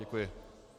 Děkuji.